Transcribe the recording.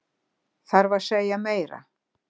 Þarf að segja meira?